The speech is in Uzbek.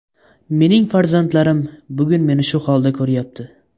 Mening farzandlarim bugun meni shu holda ko‘ryapti.